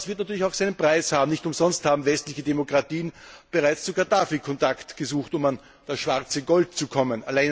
Das wird natürlich seinen Preis haben. Nicht umsonst haben westliche Demokratien bereits zu Gaddafi Kontakt gesucht, um an das schwarze Gold zu kommen.